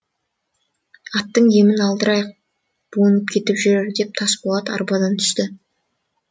аттың демін алдырайық буынып кетіп жүрер деп тас болат арбадан түсті